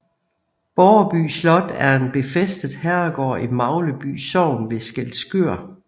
Borreby Slot er en befæstet herregård i Magleby Sogn ved Skælskør